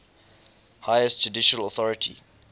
highest judicial authority